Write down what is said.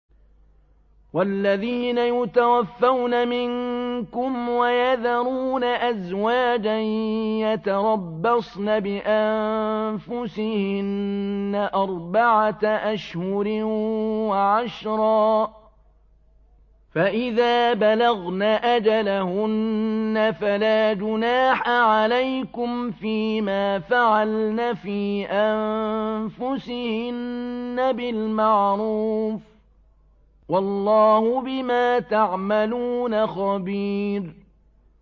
وَالَّذِينَ يُتَوَفَّوْنَ مِنكُمْ وَيَذَرُونَ أَزْوَاجًا يَتَرَبَّصْنَ بِأَنفُسِهِنَّ أَرْبَعَةَ أَشْهُرٍ وَعَشْرًا ۖ فَإِذَا بَلَغْنَ أَجَلَهُنَّ فَلَا جُنَاحَ عَلَيْكُمْ فِيمَا فَعَلْنَ فِي أَنفُسِهِنَّ بِالْمَعْرُوفِ ۗ وَاللَّهُ بِمَا تَعْمَلُونَ خَبِيرٌ